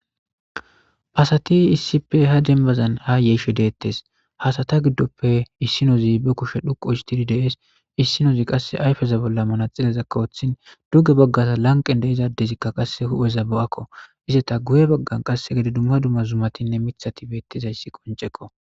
Asati issippe ha dembazan ha yishe deettes. Hasata giddoppe issinozi be kushe dhuqo histidi de7es. Issinozi qasse ayfeza bolla manaxirezakka wooththin duge baggata lanqen de izaddezikka qasse huphe zabo7akko izeta guye baggan qasse gede dumma dumma zumatinne mithati beettizayssi qoncekko